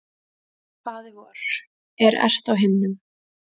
Faðir vor, er ert á himnum.